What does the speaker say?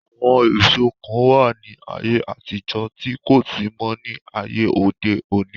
àwọn èso kan wà ní ayé àtijọ́ tí kò sí mọ́ ní àyè òde òní